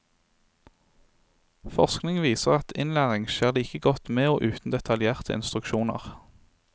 Forskning viser at innlæring skjer like godt med og uten detaljerte instruksjoner.